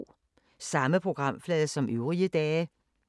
Samme programflade som øvrige dage